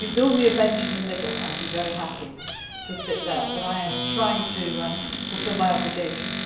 if you build me a bench in the middle I would be very happy to sit there. I am trying to fulfil my obligations!